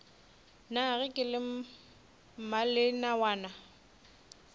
na ge ke le mmalenawana